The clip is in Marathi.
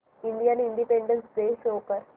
इंडियन इंडिपेंडेंस डे शो कर